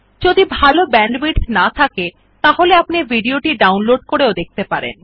যদি ভাল ব্যান্ডউইডথ না থাকে তাহলে আপনি ভিডিও টি ডাউনলোড করে দেখতে পারেন